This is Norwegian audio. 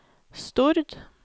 Stord